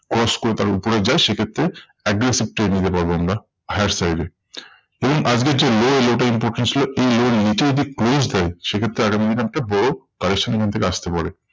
Cross করে তার উপরে যায় সেক্ষেত্রে aggressive trade নিতে পারবো আমরা higher style এ। দেখুন আজকে একটি lower low টা important ছিল এই level এর নিচে যদি close দেয় সেক্ষেত্রে আগামী দিনে একটা বড় correction এখন থেকে আসতে পারে।